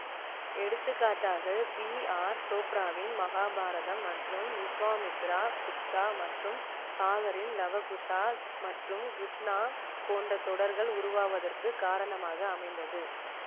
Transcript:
எடுத்துக்காட்டாக B R சோப்ராவின் மகாபாரதம் மற்றும் விஷ்வாமித்ரா புத்தா மற்றும் சாகரின் லவ குசா மற்றும் கிருஷ்ணா போன்ற தொடர்கள் உருவாவதற்கு காரணமாக அமைந்தது